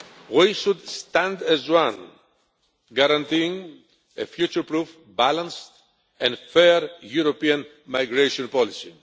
We should stand as one, guaranteeing a future proof, balanced and fair European migration policy.